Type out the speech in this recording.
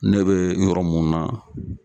Ne be yɔrɔ mun na